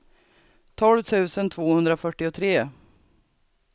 tolv tusen tvåhundrafyrtiotre